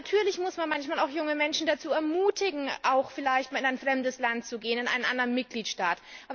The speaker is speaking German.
Natürlich muss man manchmal auch junge Menschen dazu ermutigen, vielleicht einmal in ein fremdes Land zu gehen, in einen anderen Mitgliedstaat.